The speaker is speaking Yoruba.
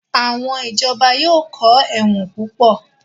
Àwọn Ìjọba yóò kọ́ ẹ̀wọ̀n púpọ̀